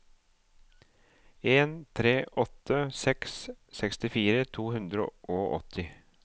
en tre åtte seks sekstifire to hundre og åtti